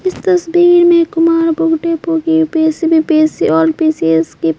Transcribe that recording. इस तस्वीर में कुमार बो की यू_पी_एस_सी में पी_एस_सी ऑल पी_सी_एस की--